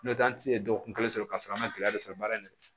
N'o tɛ an ti se dɔgɔkun kelen sɔrɔ k'a sɔrɔ an ma gɛlɛya sɔrɔ baara in na